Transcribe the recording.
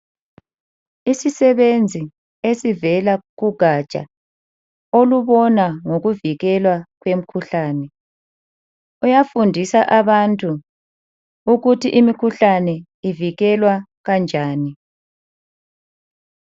Isisebenzi esivela kugatsha olubona ngokuvikelwa kwemkhuhlane, uyafundisa abantu ukuthi imkhuhlane ivikelwa kanjani.